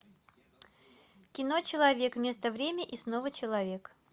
кино человек место время и снова человек